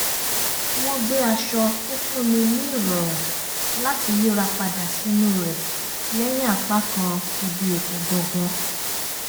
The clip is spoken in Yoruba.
wọ́n gbé àwọn aṣọ tó fún ni ní ìrọ̀rùn láti yìra padà sìnú rẹ̀ lẹ́yìn apákan ibi ètò gangan